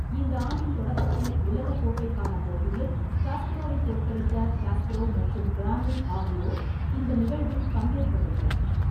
இந்த ஆண்டின் தொடக்கத்தில் உலக கோப்பைக்கான போட்டியில் காஸ்பரோவை தோற்கடித்த காஸ்பரோவ் மற்றும் கிராம்னிக் ஆகியோர் இந்த நிகழ்வில் பங்கேற்கவில்லை.